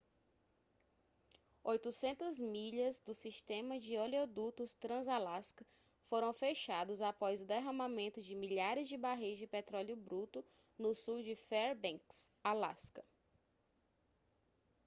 800 milhas do sistema de oleodutos transalasca foram fechados após o derramamento de milhares de barris de petróleo bruto no sul de fairbanks alasca